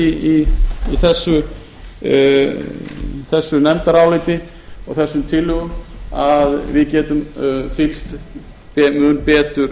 í þessu nefndaráliti og þessum tillögum að við getum fylgt þeim mun betur